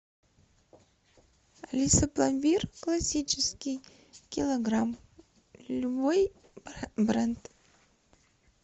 алиса пломбир классический килограмм любой бренд